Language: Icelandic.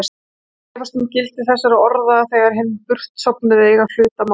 Ég efast um gildi þessara orða þegar hinir burtsofnuðu eiga hlut að máli.